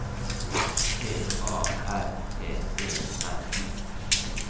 S T A R T E N